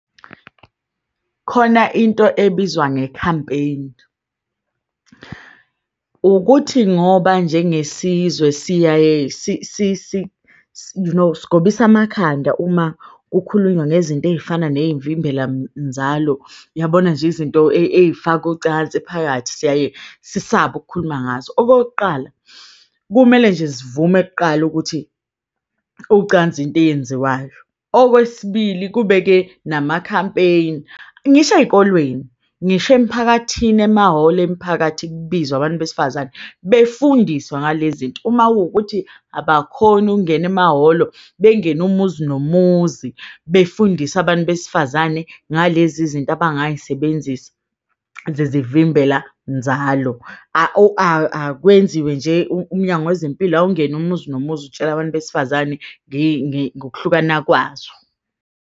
Khona into ebizwa nge-campaign, ukuthi ngoba njengesizwe siyaye sigobise amakhanda uma kukhulunywa ngezinto eyifana neyimvimbela nzalo. Yabona nje izinto eyifaka ucansi phakathi siyaye sisabe ukukhuluma ngazo. Okokuqala, kumele nje sivume kuqala ukuthi ucansi into eyenziwayo. Okwesibili, kube-ke nama-campaign, ngisho eyikolweni. Ngisho emphakathini emahholo emiphakathi kubizwe abantu besifazane befundiswe ngalezi zinto uma kuwukuthi abakhoni ukungena emahholo bengene umuzi nomuzi, befundise abantu besifazane ngalezi zinto abangayisebenzisa zezivimbela nzalo akwenziwe nje. UMnyango weZempilo awungene umuzi nomuzi utshela abantu besifazane ngokuhlukana kwazo.